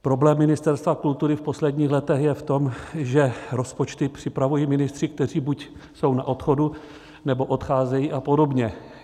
Problém Ministerstva kultury v posledních letech je v tom, že rozpočty připravují ministři, kteří buď jsou na odchodu, nebo odcházejí a podobně.